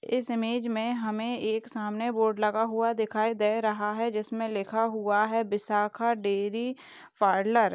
इस इमेज मे हमे एक सामने बोर्ड लगा हुआ दिखाई दे रहा है जिसमे लिखा हुआ है विशाखा डेरी पार्लर ।